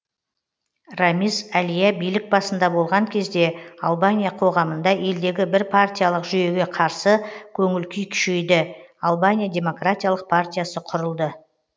рамиз әлия билік басында болған кезде албания қоғамында елдегі бірпартиялық жүйеге қарсы көңіл күй күшейді албания демократиялық партиясы құрылды